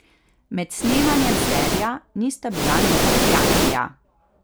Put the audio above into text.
Med snemanjem serija nista bila niti prijatelja.